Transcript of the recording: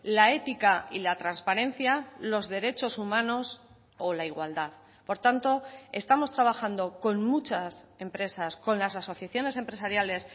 la ética y la transparencia los derechos humanos o la igualdad por tanto estamos trabajando con muchas empresas con las asociaciones empresariales